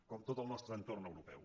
com tot el nostre entorn europeu